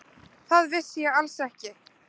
Það vissi ég alls ekki.